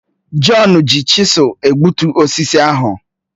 Jọn ji chisụl egbutu osisi ahụ